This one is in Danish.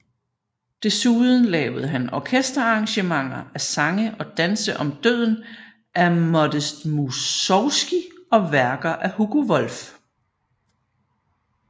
Desuden lavede han orkesterarrangementer af Sange og danse om døden af Modest Mussorgskij og værker af Hugo Wolf